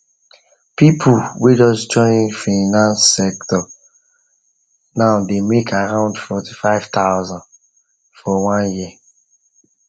people whey just join fiance sector new dey make around 45000 for one year